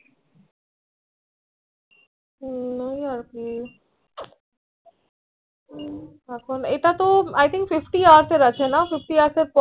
হম এই এইটা তো I Think Fifty hours আছে না Fifty hours পর